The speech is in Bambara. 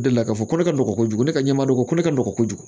O deli la k'a fɔ ko ne ka nɔgɔn kojugu ne ka ɲɛmadon ko ne ka nɔgɔn kojugu